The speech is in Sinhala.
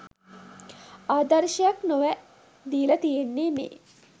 ආදර්ශයක් නොවැ දීලා තියෙන්නේ මේ.